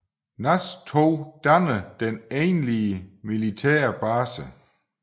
NAS II danner den egentlige militære base